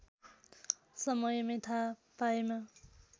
समयमै थाहा पाएमा